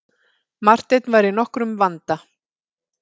Marteinn var í nokkrum vanda.